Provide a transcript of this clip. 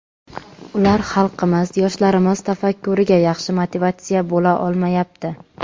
Ular xalqimiz, yoshlarimiz tafakkuriga yaxshi motivatsiya bo‘la olmayapti.